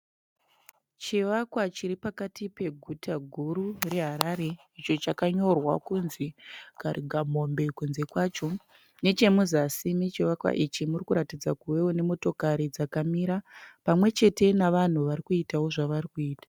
Chivakwa chiripakati peguta guru reHarare icho chakanyorwa kunzi "KARIGAMOMBE" kunze kwacho. Nechemuzasi mechivakwa ichi murikuratidza kuvawo nemota dzakamira pamwe chete nevanhu varikuitawo zvavari kuita.